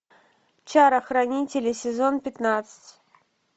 чара хранители сезон пятнадцать